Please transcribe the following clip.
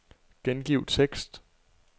Gengiv tekst.